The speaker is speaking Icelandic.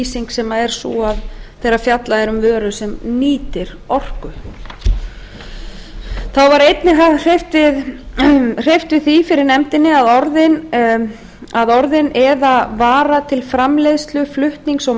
þess hugtaks komi nýtir orku í a lið þriðju greinar frumvarpsins þá var því einnig hreyft fyrir nefndinni að orðin eða vara til framleiðslu flutnings og